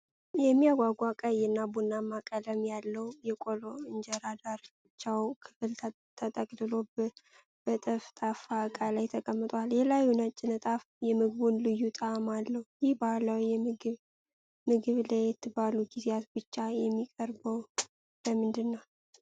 የሚያጓጓ ቀይ እና ቡናማ ቀለማት ያለው የቆሎ እንጀራ የዳርቻው ክፍል ተጠቅልሎ በጠፍጣፋ ዕቃ ላይ ተቀምጧል። የላዩ ነጭ ንጣፍ የምግቡን ልዩ ጣዕም አለው። ይህ ባህላዊ ምግብ ለየት ባሉ ጊዜያት ብቻ የሚቀርበው ለምንድነው?